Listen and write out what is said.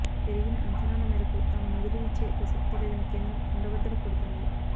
పెరిగిన అంచనాల మేరకు తాము నిధులు ఇచ్చే ప్రశక్తే లేదని కేంద్రం కుండబద్దలు కొడుతోంది